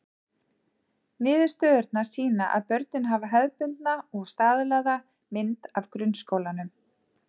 Niðurstöðurnar sýna að börnin hafa hefðbundna og staðlaða mynd af grunnskólanum.